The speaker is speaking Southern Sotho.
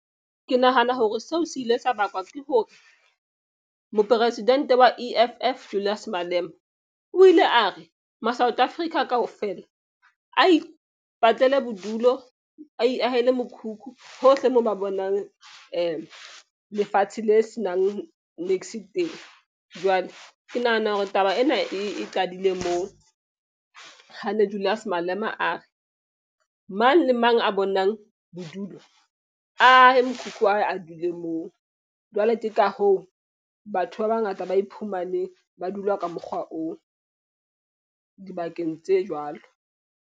Ke nahana hore seo se ile sa bakwa ke hore mopresidente wa E_F_F Julius Malema, o ile a re ma-South Africa kaofela a ipatlela bodulo. A iahele mokhukhu hohle moo ba bonang lefatshe le senang niks teng. Jwale ke nahana hore taba ena e qadile moo. Ha ne Julius Malema a re mang le mang a bonang bodulo a ahe mokhukhu wa hae a dule moo. Jwale ke ka hoo batho ba bangata ba iphumane ba dula ka mokgwa oo dibakeng tse jwalo.